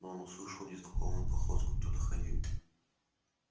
но он услышал незнакомую походку кто-то ходил